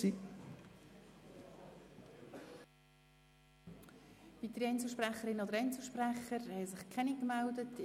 Es haben sich keine weiteren Einzelsprecher gemeldet.